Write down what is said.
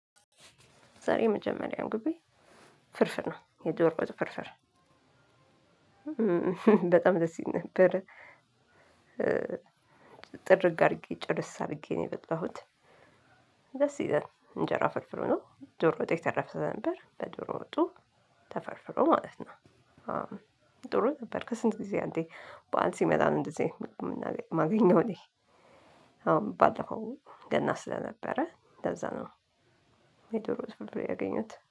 ዛሬ የመጀመሪያው ምግቤ ፍርፍር ነው የድርቆሽ ፍርፍር በጣም ደስ ይል ነበር። ጥርግ አድርጌ ጭርስ አድርጌ ነው የበላሁት። ደስ ይላል እንጀራ ፍርፍሩ ነው ዶሮ ወጥ የተረፈ ነበር በዶሮ ወጡ ተፈርፍሮ ማለት ነው። ጥሩ ነበር ከስንት ጊዜ አንዴ በዓል ሲመጣ ነው እንደዚህ አይነት ምግብ እምናገኘው እማገኘው እኔ። አሁን ባለፈው ገና ስለነበረ ለዛ ነው። የዶሮ ፍርፍር ያገኘሁት